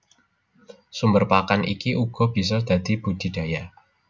Sumber pakan iki uga bisa saka budidaya